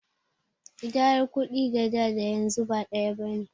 Ƙidayar kuɗi a da da yanzu ba ɗaya bane.